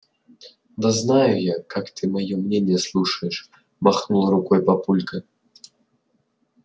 да знаю я как ты моё мнение слушаешь махнул рукой папулька